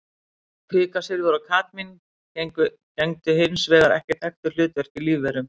Kvikasilfur og kadmín gegna hins vegar ekki þekktu hlutverki í lífverum.